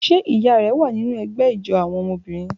Ṣe iya rẹ wa ninu ẹgbẹ ijó awọn obinrin?